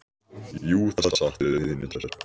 Jú, það er satt, sögðu hinar tvær.